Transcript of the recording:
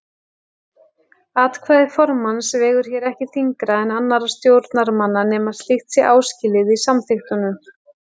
Atkvæði formanns vegur hér ekki þyngra en annarra stjórnarmanna nema slíkt sé áskilið í samþykktunum.